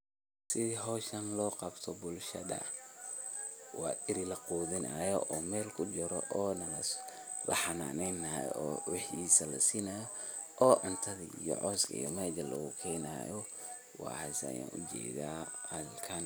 Sethi hooshan lobQabtoh bulshada, wa eri la Quthinayooo meel kujiroh, laxananeynayo waxisa la sinayo oo cuntathi iyo cooski meshal lagu keenayo waxasi Aya u jeedah halkan.